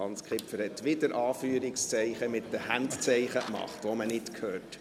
Hans Kipfer hat wieder Anführungszeichen gemacht mit Handzeichen, die man nicht hört.